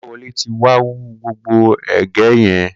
Kolawole ti wà wù gbógbó ègè yèn